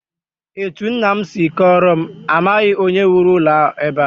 Etu nna m si kọọrọ m, amaghị onye wuru ụlọ a ebe ahụ